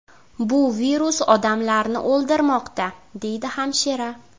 Bu virus odamlarni o‘ldirmoqda”, deydi hamshira.